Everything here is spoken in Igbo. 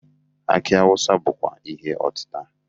Akị awụsa bụkwa ihe ọtịta.